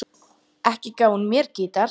Ekki gaf hún mér gítar.